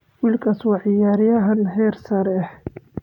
Wiilkaas waa ciyaaryahan heer sare ah.